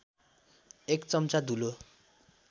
एक चम्चा धुलो